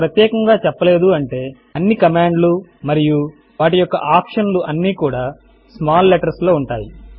ఇక్కడ ప్రత్యేకముగా చెప్పలేదు అంటే అన్ని కమాండ్ లు మరియు వాటి యొక్క ఆప్షన్ లు అన్నీ కూడా స్మాల్ లెట్టర్స్ లో ఉంటాయి